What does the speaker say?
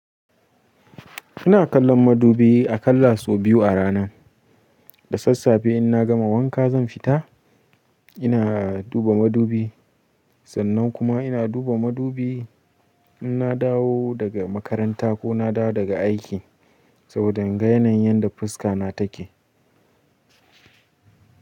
Ina kallon madubi a kallaso biyu a rana. Da sassafe in na gama wanka zan fita ina duba madubi. Sannan kuma ina duba madubi in na dawo daga makaranta ko na dawo daga aiki saboda in ga yanayin yadda fuska na take.